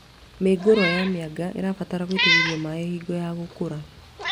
Mĩũngũrwa ya mĩanga ĩbataraga gũitĩrĩrio maĩ hingo ya gũkũra